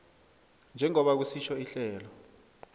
njengoba kusitjho ihlelo